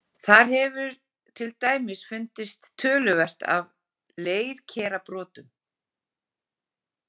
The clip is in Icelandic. Þar hefur til dæmis fundist töluvert af leirkerabrotum.